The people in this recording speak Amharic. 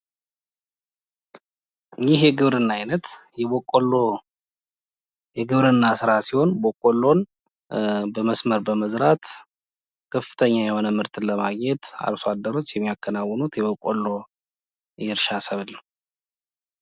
ይህ የግብርና አይነት የበቆሎ የግብርና ሥራ ሲሆን በቆሎን በመስመር በመዝራት ከፍተኛ የሆነ ምርት ለማግኘት አርሶ አደሮች የሚያከናዉኑት